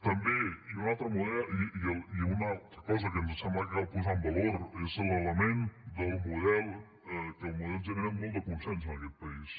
també i una altra cosa que ens sembla que cal posar en valor és l’element del model que el model genera molt de consens en aquest país